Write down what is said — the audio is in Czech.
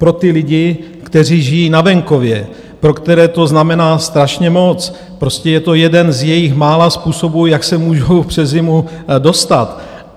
Pro ty lidi, kteří žijí na venkově, pro které to znamená strašně moc, prostě je to jeden z jejich mála způsobů, jak se můžou přes zimu dostat.